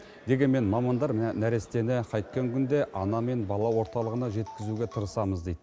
дегенмен мамандар нәрестені қайткен күнде ана мен бала орталығына жеткізуге тырысамыз дейді